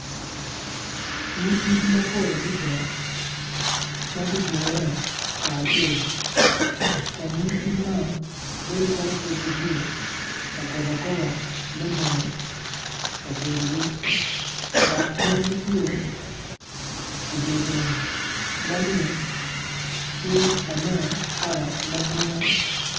Nyig kic mapol ma gudure kacel kun nyig kic man bedo calo pud gitye ka kobo akoba me nongo kabedogi dok gin gitye idye lum ma lum tye ka nen kala ma grin.